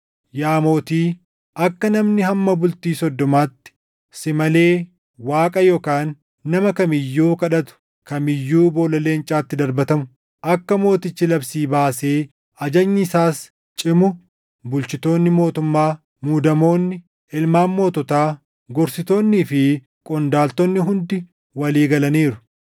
Yaa mootii, akka namni hamma bultii soddomaatti si malee Waaqa yookaan nama kam iyyuu kadhatu kam iyyuu boolla leencaatti darbatamu, akka mootichi labsii baasee ajajni isaas cimu bulchitoonni mootummaa, muudamoonni, ilmaan moototaa, gorsitoonnii fi qondaaltonni hundi walii galaniiru.